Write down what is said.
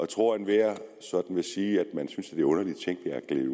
tror at enhver sådan vil sige at man synes at er underlige ting der er gledet